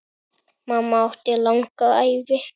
Mamma átti langa ævi.